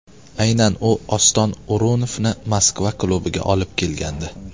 Aynan u Oston O‘runovni Moskva klubiga olib kelgandi.